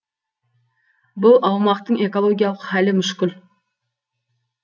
бұл аумақтың экологиялық хәлі мүшкіл